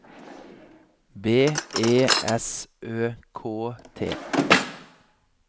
B E S Ø K T